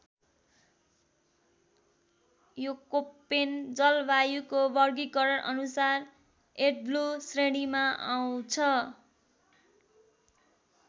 यो कोप्पेन जलवायुको वर्गीकरणअनुसार एडब्लु श्रेणीमा आउँछ।